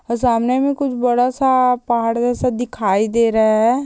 और सामने में कुछ बड़ा सा पहाड़ जैसा दिखाई दे रहा है।